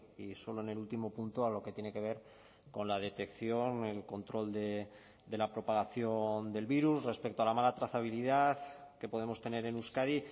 y solo en el último punto a lo que tiene que ver con la detección el control de la propagación del virus respecto a la mala trazabilidad que podemos tener en euskadi